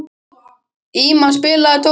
Íma, spilaðu tónlist.